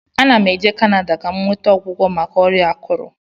Ana m eje Kanada ka m nweta ọgwụgwọ maka ọrịa akụrụ